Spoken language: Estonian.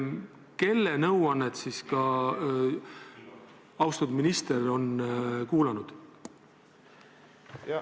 Kelle nõuannet on austatud minister kuulanud?